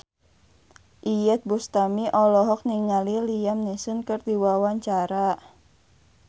Iyeth Bustami olohok ningali Liam Neeson keur diwawancara